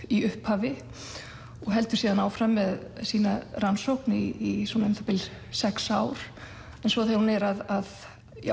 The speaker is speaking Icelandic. í upphafi og heldur síðan áfram með sína rannsókn í um það bil sex ár en svo þegar hún er að